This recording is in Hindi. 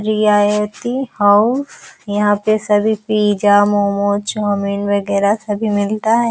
रियायती हो यहां पे सभी पिज्जा मोमोज चाउमिन वगेरा सभी मिलता है।